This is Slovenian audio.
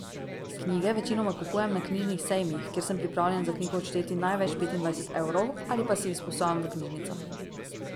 Knjige večinoma kupujem na knjižnih sejmih, kjer sem pripravljen za knjigo odšteti največ petindvajset evrov, ali pa si jih izposojam v knjižnicah.